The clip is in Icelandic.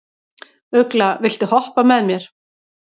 Ugla, viltu hoppa með mér?